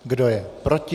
Kdo je proti?